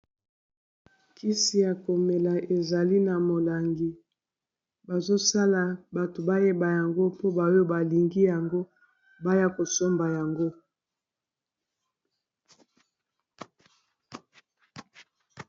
Kisi ya komela ezali na molangi bazosala bato bayeba yango mpo boyo balingi yango baya kosomba yango.